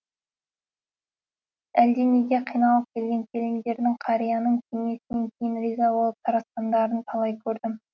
әлденеге қиналып келген келіндерінің қарияның кеңесінен кейін риза болып тарқасқандарын талай көрдім